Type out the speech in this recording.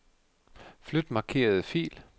Flyt markerede fil.